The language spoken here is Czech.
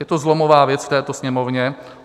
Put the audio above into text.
Je to zlomová věc v této Sněmovně.